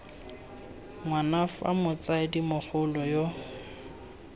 ngwana fa motsadi mogolo yo